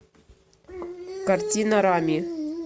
картина рами